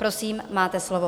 Prosím, máte slovo.